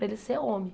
Para ele ser homem.